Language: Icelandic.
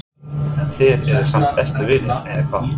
Ásgeir: En þið eruð samt bestu vinir, eða hvað?